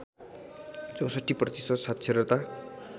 ६४ प्रतिशत साक्षरता